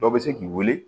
Dɔ bɛ se k'i weele